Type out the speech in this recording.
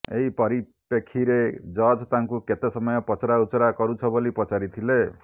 ଏହି ପରିପ୍ରେକ୍ଷୀରେ ଜଜ୍ ତାଙ୍କୁ କେତେ ସମୟ ପଚରାଉଚୁରା କରୁଛ ବୋଲି ପଚାରିଥିଲେ